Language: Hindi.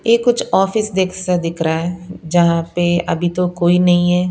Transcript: ये कुछ ऑफिस देख दिख रहा है जहां पे अभी तो कोई नहीं है।